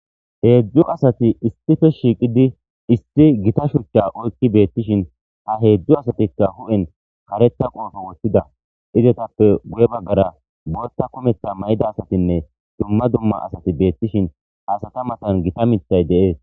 heedzdzu asati istife shiiqidi isti gita shuchcha oykki beettishin ha heedzdzu asatikka hu7en kareta qoofo woththida izetappe guye baggara botta kumeta mayda asatinne dumma dumma asati beettishin haasata matan gita mithay deees